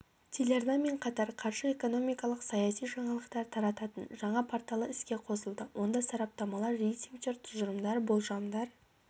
телеарнамен қатар қаржы экономикалық саяси жаңалықтар тарататын жаңа порталы іске қосылды онда сараптамалар рейтингтер тұжырымдар болжамдар